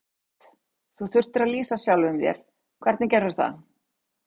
Hödd: Þú þurftir að lýsa sjálfum þér, hvernig gerðirðu það?